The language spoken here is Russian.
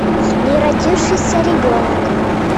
не родившийся ребенок